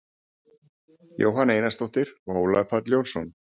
jóhanna einarsdóttir og ólafur páll jónsson